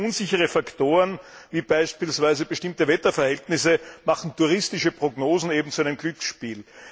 Zu viele unsichere Faktoren, wie beispielsweise bestimmte Wetterverhältnisse machen touristische Prognosen eben zu einem Glücksspiel.